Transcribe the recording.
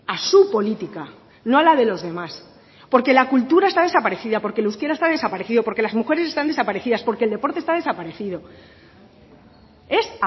a su política no a la de los demás porque la cultura está desaparecida porque el euskera está desaparecido porque las mujeres están desaparecidas porque el deporte está desaparecido es